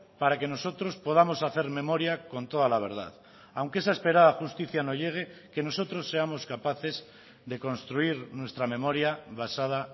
para que nosotros podamos hacer memoria con toda la verdad aunque esa esperada justicia no llegue que nosotros seamos capaces de construir nuestra memoria basada